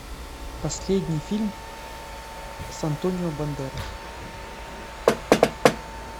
последний фильм с антонио бандерас